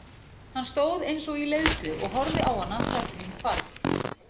Hann stóð eins og í leiðslu og horfði á hana þar til hún hvarf.